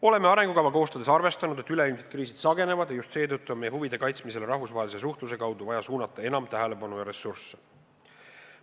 Oleme arengukava koostades arvestanud, et üleilmsed kriisid sagenevad ja just seetõttu on meie huvide kaitsmisele rahvusvahelise suhtluse kaudu vaja suunata enam tähelepanu ja ressursse.